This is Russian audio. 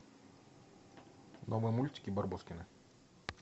новые мультики барбоскины